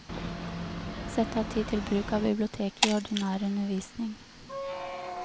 Sett av tid til bruk av biblioteket i ordinær undervisning.